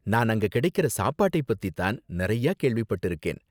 நான் அங்க கிடைக்குற சாப்பாட்டை பத்தி தான் நிறையா கேள்விப்பட்டிருக்கேன்.